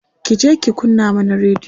kije ki kunna mana radiyo!